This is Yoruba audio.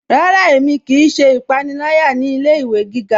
Rárá, ẹ̀mi kíí ṣẹ́ ìpànìlàyà ní ilẹ̀-ìwé gígá.